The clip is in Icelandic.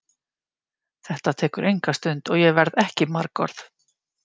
Þetta tekur enga stund og ég verð ekki margorð.